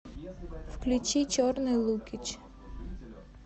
включи черный лукич